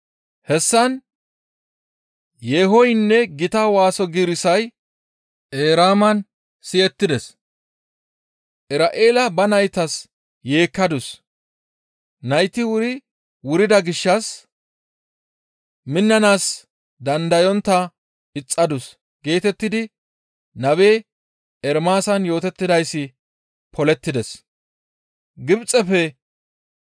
Hessan, «Yeehoynne gita waaso giirissay Eraaman siyettides; Ira7eela ba naytas yeekkadus; nayti wuri wurida gishshas minnanaas dandayontta ixxadus» geetettidi nabe Ermaasan yootettidayssi polettides.